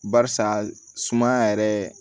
Barisa sumaya yɛrɛ